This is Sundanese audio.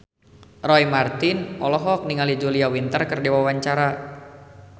Roy Marten olohok ningali Julia Winter keur diwawancara